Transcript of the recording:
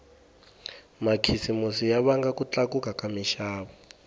makhisimusi ya vanga ku tlakuka ka minxavo